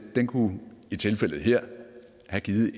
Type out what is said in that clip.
kunne i tilfældet her have givet